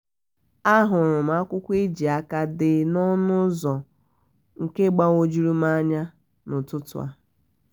a hụrụ m akwụkwọ eji aka dee n'ọṅụ ụzọ nke gbagwojuru m anya n'ụtụtụ a